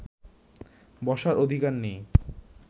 বসার অধিকার নেই